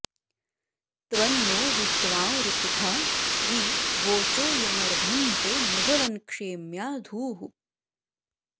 त्वं नो विद्वाँ ऋतुथा वि वोचो यमर्धं ते मघवन्क्षेम्या धूः